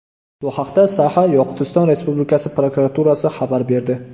Bu haqda Saxa-Yoqutiston Respublikasi prokuraturasi xabar berdi .